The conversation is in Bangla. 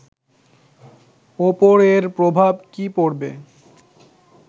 ওপর এর প্রভাব কী পড়বে